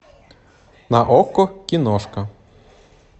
на окко киношка